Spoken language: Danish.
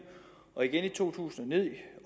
og i to tusind